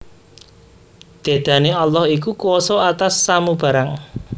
Dedane Allah iku kuwasa atas samu barang